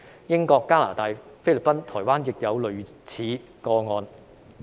英國、加拿大、菲律賓、台灣亦有類似個案。